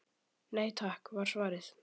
Nei takk var svarið.